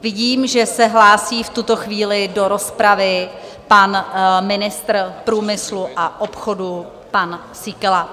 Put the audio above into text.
Vidím, že se hlásí v tuto chvíli do rozpravy pan ministr průmyslu a obchodu, pan Síkela.